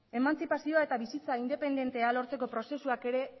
emantzipazioa eta bizitza independentea lortzeko prozesuak ere